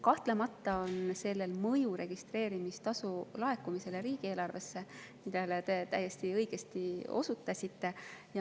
Kahtlemata on sellel mõju registreerimistasu laekumisele riigieelarvesse, millele te täiesti õigesti osutasite.